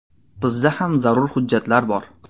Bizda ham zarur hujjatlar bor.